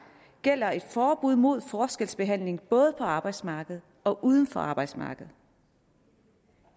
gælder et forbud mod forskelsbehandling både på arbejdsmarkedet og uden for arbejdsmarkedet